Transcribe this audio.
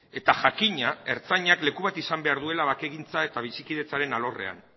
eta jakina ertzantzak leku bat izan behar duela bakegintza eta bizikidetzaren alorrean